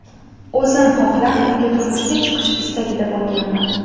O‘zim xohlab unga turmushga chiqish istagida bo‘lganman.